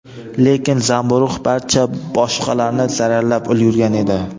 Lekin zamburug‘ barcha baqalarni zararlab ulgurgan edi.